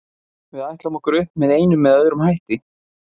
Við ætlum okkur upp með einum eða öðrum hætti.